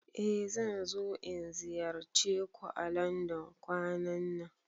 Eh zan zo in ziyarce ku à Landon kwanan nan.